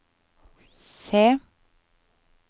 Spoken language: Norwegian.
se